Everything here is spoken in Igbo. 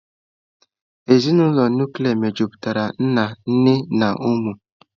Ezinụlọ nụklịa mejupụtara nna, nne na ụmụ.